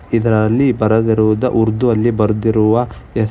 ಇದರಲ್ಲಿ ಬರೆದಿರುವುದ ಉರ್ದು ಅಲ್ಲಿ ಬರ್ದಿರುವ ಹೆಸ್.